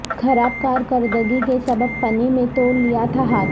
خراب کارکردگی کے سبب پنے میں توڑلیا تھا ہاتھ